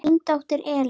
Þín dóttir, Elín.